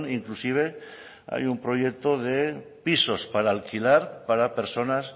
inclusive hay un proyecto de pisos para alquilar para personas